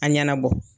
A ɲɛnabɔ